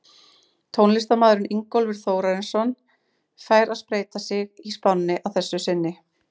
Tónlistarmaðurinn Ingólfur Þórarinsson fær að spreyta sig í spánni að þessu sinni.